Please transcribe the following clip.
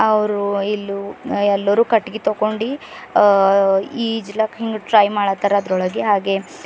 ಅವರು ಇಲ್ಲು ಹ ಎಲ್ಲರೂ ಕಟ್ಟಿಗೆ ತಗೊಂಡಿ ಅ ಈಜಲಕ ಹಿಂಗ ಟ್ರೈ ಮಾಡತರ ಅದರೊಳಗೆ ಹಾಗೆ.